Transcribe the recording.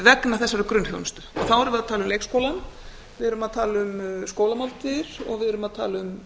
vegna þessara grunnþjónustu þá erum við að tala um leikskólann við erum að tala um skólamáltíðir og við erum að tala um